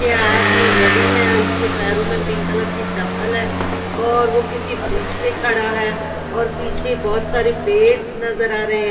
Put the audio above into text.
के हाथ में घड़ी है इसके पैरों में पिंक कलर की चप्पल है और वो किसी ब्रिज पे खड़ा है और पीछे बहोत सारे पेड़ नजर आ रहे है।